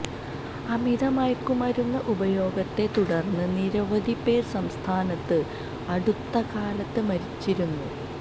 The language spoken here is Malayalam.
അമിത മയക്കുമരുന്ന് ഉപയോഗത്തെ തുടർന്ന് നിരവധിപേർ സംസ്ഥാനത്ത് അടുത്തകാലത്ത് മരിച്ചിരുന്നു